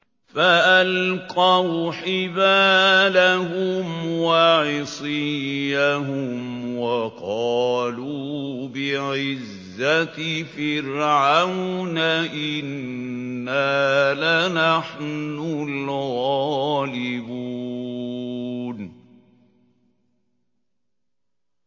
فَأَلْقَوْا حِبَالَهُمْ وَعِصِيَّهُمْ وَقَالُوا بِعِزَّةِ فِرْعَوْنَ إِنَّا لَنَحْنُ الْغَالِبُونَ